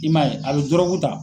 I maa ye a bɛ dɔrɔguta.